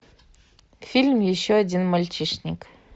фильм еще один мальчишник